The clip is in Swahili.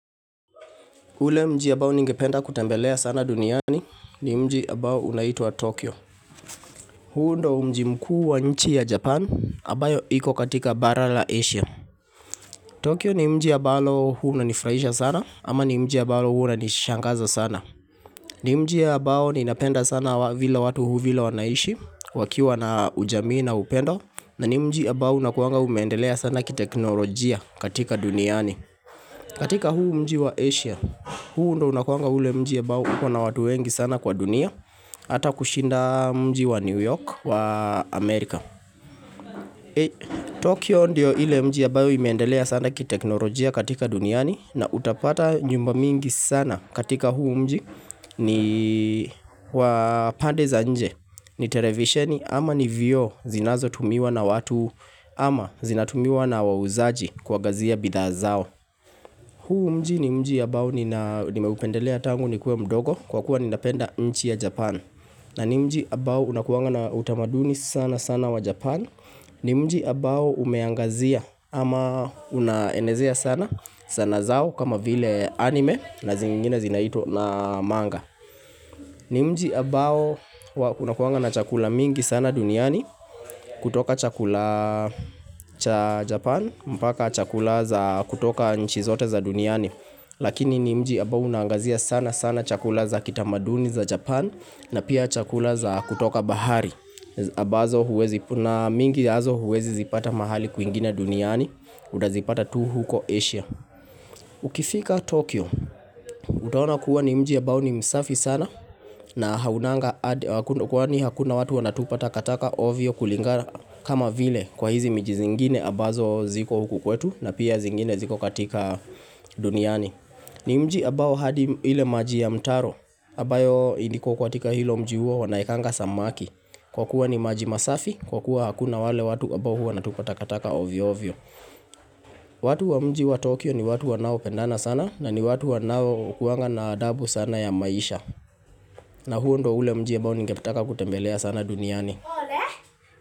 Ule mji ambao ningependa kutembelea sana duniani ni mji ambao unaitwa Tokyo. Huu ndio mji mkuu wa nchi ya Japan ambayo iko katika bara la Asia. Tokyo ni mji ambalo huwa unanifurahisha sana ama ni mji ambalo huwa unanishangaza sana. Ni mji ambao ninapenda sana vile watu vile wanaishi wakiwa na ujamii na upendo na ni mji ambao unakuanga umeendelea sana kiteknolojia katika duniani. Katika huu mji wa Asia, huu ndio unakuanga ule mji ambao uko na watu wengi sana kwa dunia Hata kushinda mji wa New York wa Amerika Tokyo ndio ile mji ambayo imeendelea sana kiteknolojia katika duniani na utapata nyumba mingi sana katika huu mji ni wapande za inje ni televisheni ama ni vio zinazo tumiwa na watu ama zinatumiwa na wauzaji kuangazia bidhaa zao huu mji ni mji ambao nimeupendelea tangu nikue mdogo kwa kuwa nina penda nchi ya Japan na ni mji ambao unakuanga na utamaduni sana sana wa Japan ni mji ambao umeangazia ama unaenezea sana sana zao kama vile anime na zingine zinaitwa namanga. Ni mji ambao kuna kuanga na chakula mingi sana duniani kutoka chakula cha Japan mpaka chakula za kutoka nchi zote za duniani. Lakini ni mji ambao unaangazia sana sana chakula za kitamaduni za Japan na pia chakula za kutoka bahari na mingi hizo huwezi zipata mahali kwingine duniani. Unazipata tu huko Asia. Ukifika Tokyo, utaona kuwa ni mji ambao ni msafi sana na haunanga kwani hakuna watu wanatupa takataka ovyo kulingana kama vile kwa hizi miji zingine ambazo ziko huku kwetu na pia zingine ziko katika duniani ni mji ambao hadi ile maji ya mtaro ambayo iko katika hilo mji huo wanaekanga samaki kwa kuwa ni maji masafi kwa kuwa hakuna wale watu ambao huwa wanatupa takataka ovyo ovyo watu wa mji wa Tokyo ni watu wanao pendana sana na ni watu wanao kuanga na adabu sana ya maisha na huo ndio ule mji ambao ningetaka kutembelea sana duniani.